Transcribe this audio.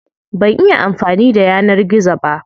Ban iya amfani da yanar gizo ba.